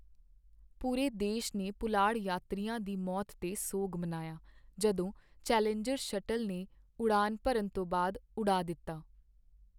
ਪੂਰੇ ਦੇਸ਼ ਨੇ ਪੁਲਾੜ ਯਾਤਰੀਆਂ ਦੀ ਮੌਤ 'ਤੇ ਸੋਗ ਮਨਾਇਆ ਜਦੋਂ ਚੈਲੇਂਜਰ ਸ਼ਟਲ ਨੇ ਉਡਾਣ ਭਰਨ ਤੋਂ ਬਾਅਦ ਉਡਾ ਦਿੱਤਾ।